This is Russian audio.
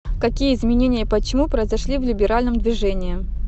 какие изменения и почему произошли в либеральном движении